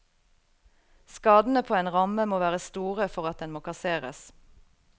Skadene på en ramme må være store for at den må kasseres.